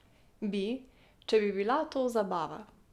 Bi, če bi bila to zabava.